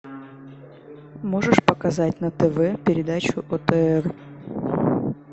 можешь показать на тв передачу отр